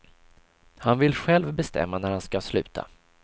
Han vill själv bestämma när han ska sluta.